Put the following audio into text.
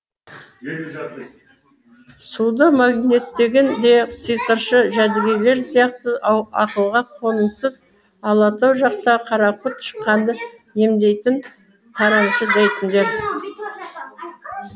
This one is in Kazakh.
суды магниттеген де сиқыршы жәдігөйлер сияқты ақылға қонымсыз алатау жақтағы қарақұрт шыққанды емдейтін тарамшы дейтіндер